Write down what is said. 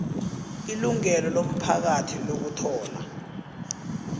ilungelo lomphakathi lokuthola